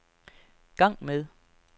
gang med